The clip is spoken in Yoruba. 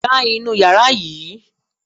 Gba inú yàrá yìí!